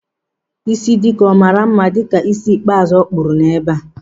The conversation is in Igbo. Ịsị Dike ọ maara mma dịka ísí ikpeazụ ọ kpụrụ ebe a?